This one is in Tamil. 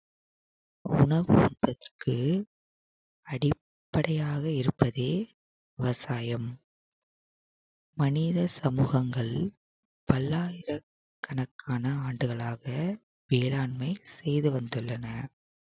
உணவு உற்பத்திக்கு அடிப்படையாக இருப்பதே விவசாயம் மனித சமூகங்கள் பல்லாயிரக்கணக்கான ஆண்டுகளாக வேளாண்மை செய்து வந்துள்ளன